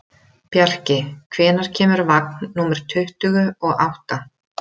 Bjarki, hvenær kemur vagn númer tuttugu og átta?